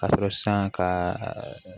Ka sɔrɔ san ka